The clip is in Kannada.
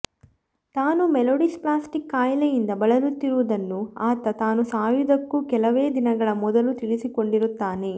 ತಾನು ಮೈಲೋಡಿಸ್ಪ್ಲಾಸ್ಟಿಕ್ ಖಾಯಿಲೆಯಿಂದ ಬಳಲುತ್ತಿರುವುದನ್ನು ಆತ ತಾನು ಸಾಯುವುದಕ್ಕೂ ಕೆಲವೇ ದಿನಗಳ ಮೊದಲು ತಿಳಿದುಕೊಂಡಿರುತ್ತಾನೆ